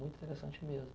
Muito interessante mesmo.